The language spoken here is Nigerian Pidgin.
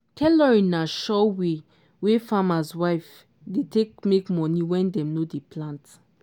tailoring na sure way wey farmers' wives dey take make money when dem no dey plant.